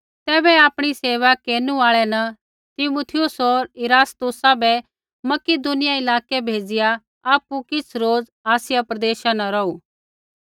तैबै आपणी सेवा केरनु आल़ै न तीमुथियुस होर इरास्तुसा बै मकिदुनिया इलाकै भेज़िआ आपु किछ़ रोज़ आसिया प्रदेशा न रौहू